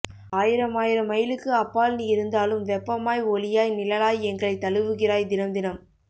ஆயிரமாயிரம் மையிலுக்கு அப்பால் நீ இருந்தாலும் வெப்பமாய் ஒளியாய் நிழலாய் எங்களை தழுவுகிறாய் தினம் தினம்